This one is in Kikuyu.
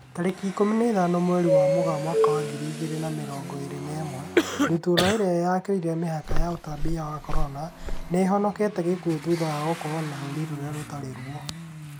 Tarĩki ikũmi na ithano mweri wa Mũgaa mwaka wa ngiri igĩrĩ na mĩrongo ĩrĩ na ĩmwe, ndutura ĩrĩa yakĩrire mĩhaka ya ũtambia wa Corona, nĩihonokete gĩkuo thutha wa gũkorwo na rũri rũtari ruo